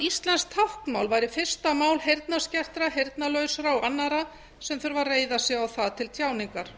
íslenskt táknmál væri fyrsta mál heyrnarskertra heyrnarlausra og annarra sem þurfa að reiða sig á það til tjáningar